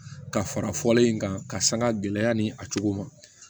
Ka fara fɔlen in kan ka sanga gɛlɛya ni a cogo ma